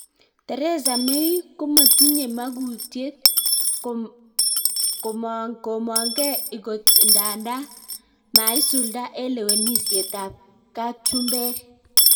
Theresa May �matenye magutyet� komang-geee igot nda maisulda en lewenisiet ap ka[chumbeg